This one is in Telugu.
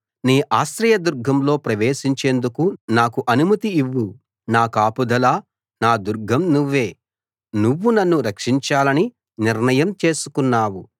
నీ ఆశ్రయదుర్గంలో ప్రవేశించేందుకు నాకు అనుమతి ఇవ్వు నా కాపుదల నా దుర్గం నువ్వే నువ్వు నన్ను రక్షించాలని నిర్ణయం చేసుకున్నావు